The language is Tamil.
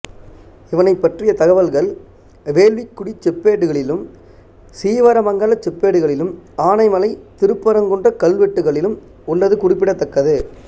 இவனைப் பற்றிய தகவல்கள் வேள்விக்குடிச் செப்பேடுகளிலும் சீவர மங்கலச் செப்பேடுகளிலும் ஆனைமலை திருப்பரங்குன்றக் கல்வெட்டுக்களிலும் உள்ளது குறிப்பிடத்தக்கது